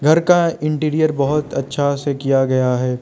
घर का इंटीरियर बहोत अच्छा से किया गया है।